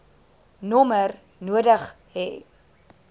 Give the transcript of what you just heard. nommer nodig hê